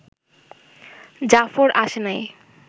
জাফর আসে নাই